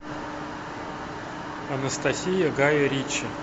анастасия гая ричи